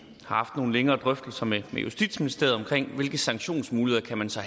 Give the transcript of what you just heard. haft nogle længere drøftelser med justitsministeriet om hvilke sanktionsmuligheder man så